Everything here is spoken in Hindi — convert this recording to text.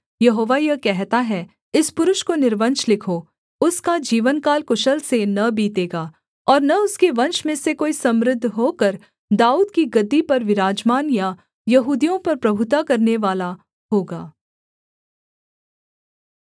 यहोवा यह कहता है इस पुरुष को निर्वंश लिखो उसका जीवनकाल कुशल से न बीतेगा और न उसके वंश में से कोई समृद्ध होकर दाऊद की गद्दी पर विराजमान या यहूदियों पर प्रभुता करनेवाला होगा